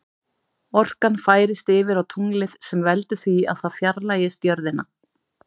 Orkan færist yfir á tunglið sem veldur því að það fjarlægist jörðina.